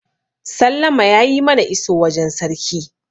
sallama ya yi mana iso wajen sarki